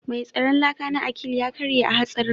Mai tsaron laka na Akil ya karye a hatsarin